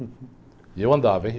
E eu andava, hein?